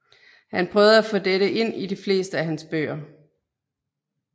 Han prøvede at få dette ind i de fleste af hans bøger